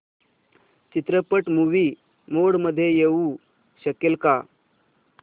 चित्रपट movie mode मध्ये येऊ शकेल का